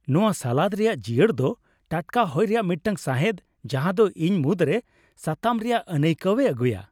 ᱱᱚᱶᱟ ᱥᱟᱞᱟᱫ ᱨᱮᱭᱟᱜ ᱡᱤᱭᱟᱹᱲ ᱫᱚ ᱴᱟᱴᱠᱟ ᱦᱚᱭ ᱨᱮᱭᱟᱜ ᱢᱤᱫᱴᱟᱝ ᱥᱟᱸᱦᱮᱫ ᱡᱟᱦᱟᱫᱚ ᱤᱧ ᱢᱩᱫᱽᱨᱮ ᱥᱟᱛᱟᱢ ᱨᱮᱭᱟᱜ ᱟᱹᱱᱟᱹᱭᱠᱟᱹᱣᱮ ᱟᱹᱜᱩᱭᱟ ᱾